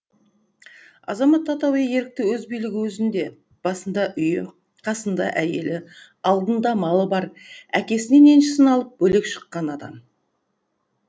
азамат атауы ерікті өз билігі өзінде басындаүйі қасында әйелі алдында малы бар әкесінен еншісін алып бөлек шыққан адам